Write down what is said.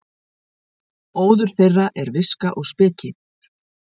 Óður þeirra er viska og speki.